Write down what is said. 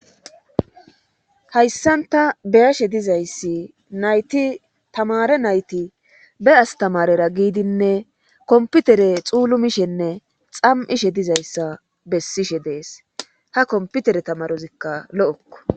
hayssanta beyashe dizayssi nayti tamare nayti be astamarera giidinne komputere xuulumishenne xam7ishe dizayssa bessishe dees ha komputere tamarozikka lo7okko